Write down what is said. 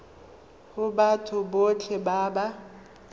go batho botlhe ba ba